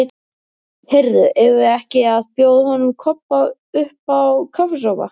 Heyrðu, eigum við ekki að bjóða honum Kobba uppá kaffisopa?